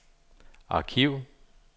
arkiv